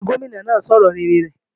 Bẹ́ẹ̀ni, Gómìnà náà sọ̀rọ̀ rere rẹ̀